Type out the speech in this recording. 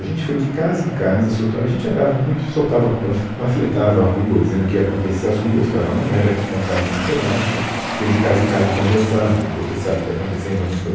A gente foi de casa em casa, soltamos, a gente andava muito soltava pa, panfletava a rua, dizendo o que ia acontecer, as ruas, cada um era responsável por um pedaço, ia de casa em casa, conversava, você sabe o que está acontecendo, nós vamos fazer.